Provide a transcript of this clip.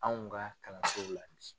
Anw ka kalanso la.